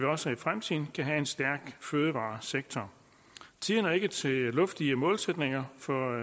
også i fremtiden kan have en stærk fødevaresektor tiden er ikke til luftige målsætninger for